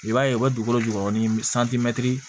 I b'a ye u bɛ dugukolo jukɔrɔ ni